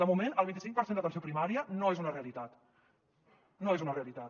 de moment el vint i cinc per cent d’atenció primària no és una realitat no és una realitat